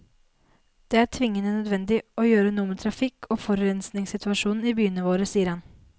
Det er tvingende nødvendig å gjøre noe med trafikk og forurensningssituasjonen i byene våre, sier han.